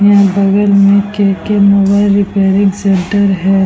यहाँ बगल में के.के मोबाइल रिपेयरिंग सेंटर है ।